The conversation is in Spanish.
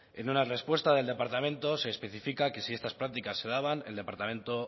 en una respuesta del departamento se especifica que si estas prácticas se daban el departamento